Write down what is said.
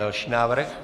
Další návrh.